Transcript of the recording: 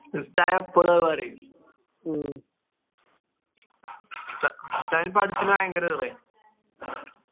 ഉസ്തായെപ്പളും അത് പറയും ഭയങ്കര